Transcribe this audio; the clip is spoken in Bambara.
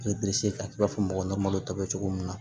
I bɛ k'a la i b'a fɔ mɔgɔ malo tɔ bɛ cogo min na